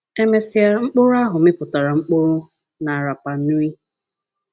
E mesịa, mkpụrụ ahụ mịpụtara mkpụrụ na Rapa Nui.